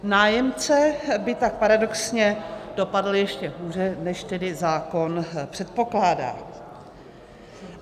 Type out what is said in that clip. Nájemce by tak paradoxně dopadl ještě hůře, než tedy zákon předpokládá.